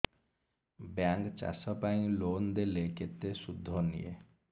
bank ଚାଷ ପାଇଁ loan ଦେଲେ କେତେ ସୁଧ ନିଏ